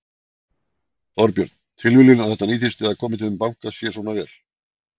Þorbjörn: Tilviljun að þetta nýtist eða komi þeim banka sér svona vel?